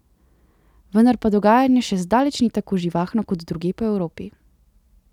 Vendar pa dogajanje še zdaleč ni tako živahno kot drugje po Evropi.